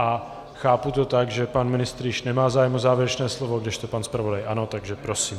A chápu to tak, že pan ministr již nemá zájem o závěrečné slovo, kdežto pan zpravodaj ano, takže prosím.